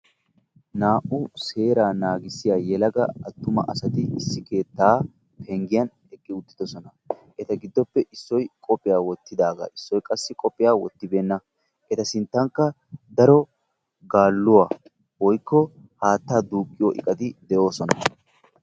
Naa"u seeraa naagissiya yelaga attuma asati issi keettaa penggiyan eqqi uttiddossona. Eta giddoppe issoy qophiya wottidaagaa issoy qassi qophiya wottibeenna eta sinttankka daro gaalluwa woykko haattaa duuqqiyo iqqati de'oosona.